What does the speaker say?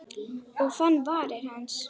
Og fann varir hans.